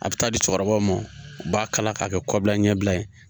A bɛ taa di cɛkɔrɔbaw ma u b'a kala k'a kɛ kɔbila ɲɛbila ye